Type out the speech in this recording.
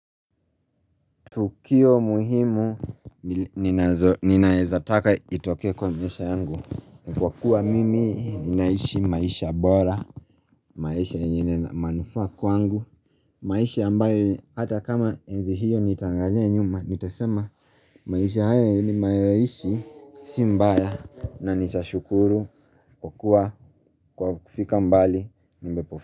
Tukio muhimu ninaeza taka itokee kwa maisha yangu. Kwa kuwa mimi naishi maisha bora. Maisha yenye manufaa kwangu. Maisha ambayo hata kama enzi hiyo nitaangalia nyuma nitasema maisha haya nimeyaishi. Si mbaya na nitashukuru kwa kuwa, kwa kufika mbali.